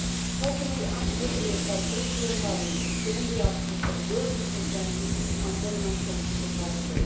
How can we accurately assess social imbalances given the absence of a European consensus on minimum social protection?